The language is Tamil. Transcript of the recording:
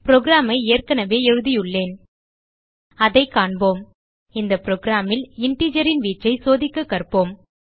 புரோகிராம் ஐ ஏற்கனவே எழுதியுள்ளேன் அதைக் காண்போம் இந்த programல் integersன் வீச்சை சோதிக்க கற்போம்